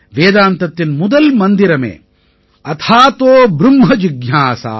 வேதாந்தத்தின் முதல் மந்திரமே அதாதோ ப்ரும்ம ஜிஞ்யாஸா